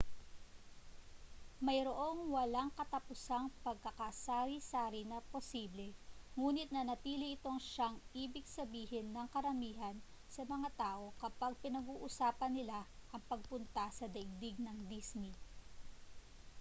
mayroong walang katapusang pagkakasari-sari na posible nguni't nanatili itong siyang ibig sabihin ng karamihan sa mga tao kapag pinag-uusapan nila ang pagpunta sa daigdig ng disney